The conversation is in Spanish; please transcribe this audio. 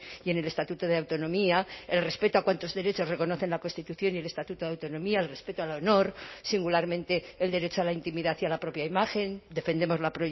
y en el estatuto de autonomía el respeto a cuantos derechos reconocen la constitución y el estatuto de autonomía el respeto al honor singularmente el derecho a la intimidad y a la propia imagen defendemos la